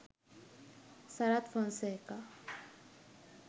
sarath fonseka